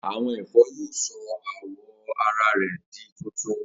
Awọn ẹfọ yoo sọ awọ ara rẹ di tuntun.